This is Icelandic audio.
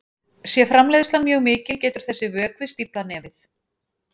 Sé framleiðslan mjög mikil getur þessi vökvi stíflað nefið.